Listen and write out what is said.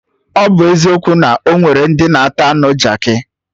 Ọ bụ eziokwu na onwere ndị na-ata anụ Jaakị